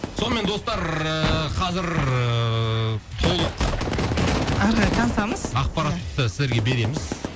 сонымен достар ыыы қазір ыыы толық ары қарай танысамыз ақпаратты сіздерге береміз